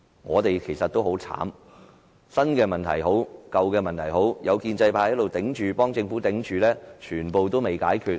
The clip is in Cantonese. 我們其實很慘，無論是新問題還是舊問題，只要有建制派在這裏為政府頂着，全部也未能解決。